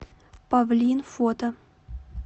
павлин фото